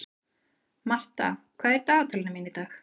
Martha, hvað er í dagatalinu mínu í dag?